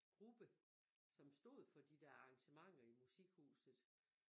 Gruppe som stod for de der arrangementer i musikhuset